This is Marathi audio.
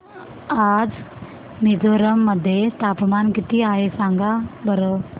आज मिझोरम मध्ये तापमान किती आहे सांगा बरं